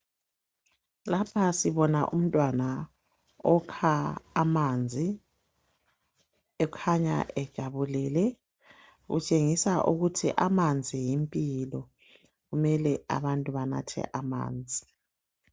Lapha sibona umntwana okha amanzi ekhanya ejabulile. Kutshengisa ukuthi amanzi yimpilo kumele abantu banathe amanzi.